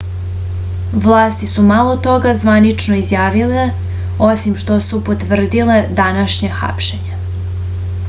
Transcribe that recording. vlasti su malo toga zvanično izjavile osim što su potvrdile današnje hapšenje